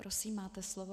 Prosím, máte slovo.